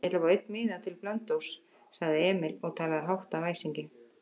Ég ætla að fá einn miða til Blönduóss, sagði Emil og talaði hátt af æsingi.